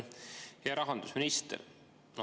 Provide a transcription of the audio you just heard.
Hea rahandusminister!